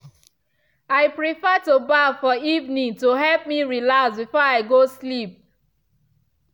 i prefer to baff for evening to help me relax before i go sleep.